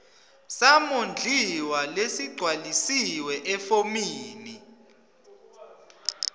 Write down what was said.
samondliwa lesigcwalisiwe efomini